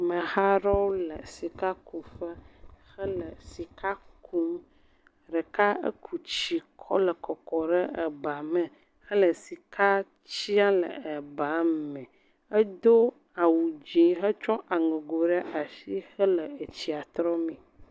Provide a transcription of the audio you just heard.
Ameha aɖewo le sikakuƒe, hele sika kum, ɖeka eku tsi kɔ le kɔkɔ ɖe eba me hele sika tiam le eba me, edo awu dzee hetsɔ aŋego ɖe asi hele etsia trɔ mee.